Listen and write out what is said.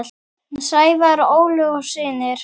Sævar, Ólöf og synir.